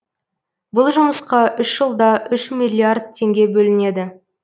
бұл жұмысқа үш жылда үш миллиард теңге бөлінеді